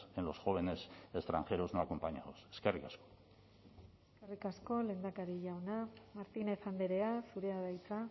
en los jóvenes extranjeros no acompañados eskerrik asko eskerrik asko lehendakari jauna martínez andrea zurea da hitza